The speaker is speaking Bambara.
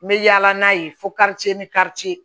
N bɛ yaala n'a ye fo ka ni karice